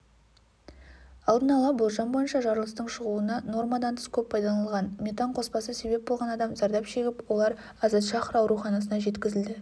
алдын ала болжам бойынша жарылыстың шығуына нормадан тыс көп пайдаланылған метан қоспасы себеп болған адам зардап шегіп олар азадшахр ауруханасына жеткізілді